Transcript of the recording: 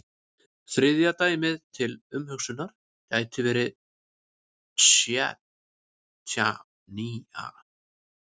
Þriðja dæmið til umhugsunar gæti verið Tsjetsjenía.